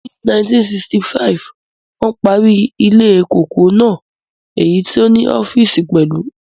Ni 1965, wón parí ilée kòkó náà èyí tí ó ní ọ́físì pẹ̀lú